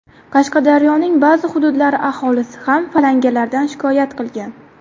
Qashqadaryoning ba’zi hududlari aholisi ham falangalardan shikoyat qilgan.